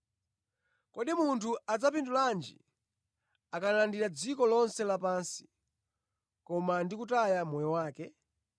Kodi munthu adzapindulanji akalandira dziko lonse lapansi, koma ndi kutaya moyo wake?